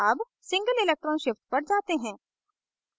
अब single electron shift पर जाते हैं